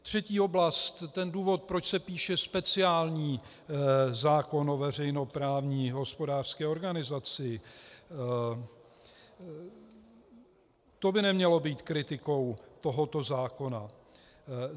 Třetí oblast, ten důvod, proč se píše speciální zákon o veřejnoprávní hospodářské organizaci, to by nemělo být kritikou tohoto zákona.